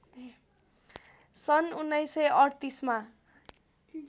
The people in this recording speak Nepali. सन् १९३८ मा